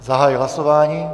Zahajuji hlasování.